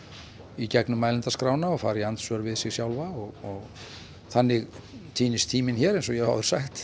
í gegnum mælendaskrána og fara í andsvör við sig sjálfa og þannig týnist tíminn hér eins og ég hef áður sagt